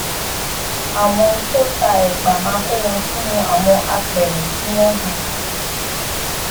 àwọn tó ta èpà máa kó wọn sínú àwọn apèrè tí wón hun